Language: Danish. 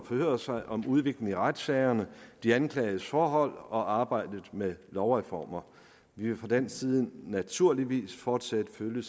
forhøre sig om udviklingen i retssagerne de anklagedes forhold og arbejdet med lovreformer vi vil fra dansk side naturligvis fortsat følge